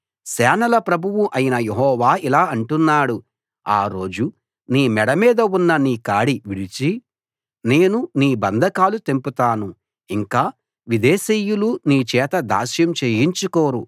సేనల ప్రభువు అయిన యెహోవా ఇలా అంటున్నాడు ఆ రోజు నీ మెడ మీద ఉన్న నీ కాడి విరిచి నేను నీ బంధకాలు తెంపుతాను ఇంక విదేశీయులు నీ చేత దాస్యం చేయించుకోరు